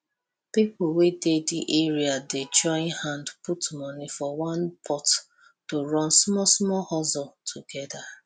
people wey dey the area dey join hand put money for one pot to run smallsmall hustle together